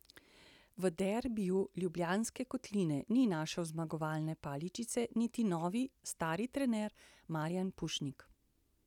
V derbiju Ljubljanske kotline ni našel zmagovalne paličice niti novi, stari trener Marijan Pušnik.